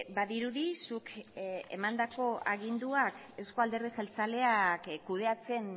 badirudi zuk emandako aginduak euzko alderdi jeltzaleak kudeatzen